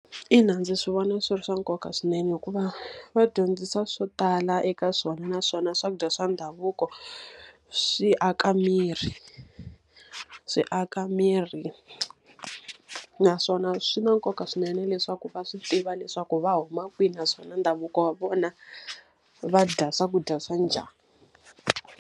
Ina ndzi swi vona swi ri swa nkoka swinene hikuva va dyondzisa swo tala eka swona, naswona swakudya swa ndhavuko swi aka miri. Swi aka miri, naswona swi na nkoka swinene leswaku va swi tiva leswaku va huma kwini naswona ndhavuko wa vona va dya swakudya swa njhani.